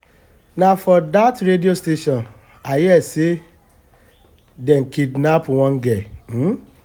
na for dat radio station i hear say dey kidnap one girl um